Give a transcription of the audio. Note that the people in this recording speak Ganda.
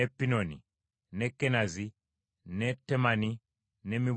ne Kenazi, ne Temani, ne Mibuza,